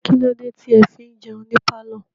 Kílódé tí ẹ fi ń jẹun ní pálọ̀?